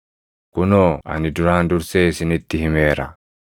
Kunoo ani duraan dursee isinitti himeera.